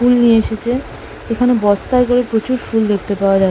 ফুল নিয়ে এসেছে এখানে বস্তায় করে প্রচুর ফুল দেখতে পাওয়া যা --।